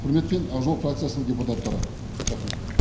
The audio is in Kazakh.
құрметпен ақ жол фракциясының депутаттары рахмет